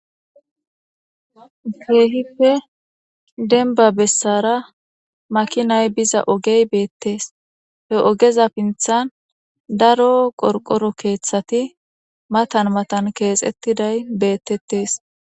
Kehippe deniba besara makinay biza ogey betes he ogeza sinithan daro qoriqoro kethati matan matan kexetizays betetes